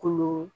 Kolo